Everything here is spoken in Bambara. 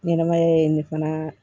Ɲɛnɛmaya ye nin fana